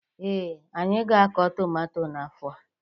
Ee, anyị ga-akọ tụmato n'afọ a.